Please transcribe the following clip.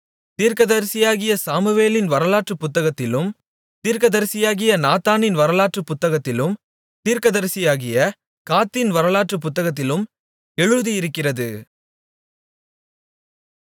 தீர்க்கதரிசியாகிய சாமுவேலின் வரலாற்று புத்தகத்திலும் தீர்க்கதரிசியாகிய நாத்தானின் வரலாற்று புத்தகத்திலும் தீர்க்கதரிசியாகிய காத்தின் வரலாற்று புத்தகத்திலும் எழுதியிருக்கிறது